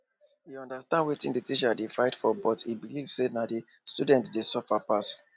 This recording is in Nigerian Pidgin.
e understand wetin the teachers dey fight for but e believe say na the students dey suffer pass